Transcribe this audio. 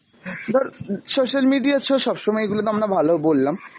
ধর social media so সবসময় এইগুলোতো আমরা ভালো বললাম,